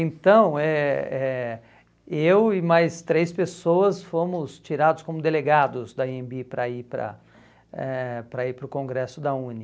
Então, eh eh eu e mais três pessoas fomos tirados como delegados da anhembi para ir para eh para ir para o congresso da UNE.